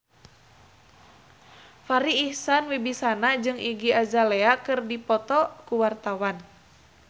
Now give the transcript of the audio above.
Farri Icksan Wibisana jeung Iggy Azalea keur dipoto ku wartawan